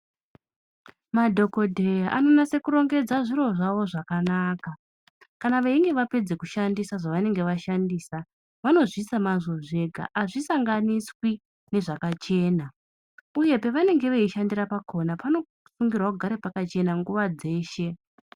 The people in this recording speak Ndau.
Madhogodheya anonase kurongedza zviro zvavo zvakanaka. kana veinge vapedza kushandisa zvavanenge vashandisa. Vanozviisa mazvo zvega hazvisanganiswi nezvakachena, uye pavanenge veishandira pakona vanosungirwa kugara pakachena nguva dzeshe.